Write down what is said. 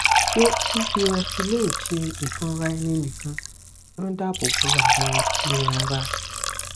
ṣé fífi restylane ṣe ìfọnraẹninìkan ń dáàbò bo àwọn ìran ara